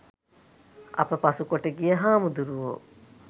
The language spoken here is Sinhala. අප පසුකොට ගිය හාමුරුවෝ